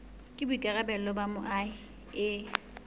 ke boikarabelo ba moahi e